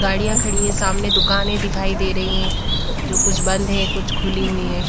गाड़ियां खड़ी है सामने दुकानें दिखाई दे रही हैं जो कुछ बंद हैं कुछ खुली हुई हैं।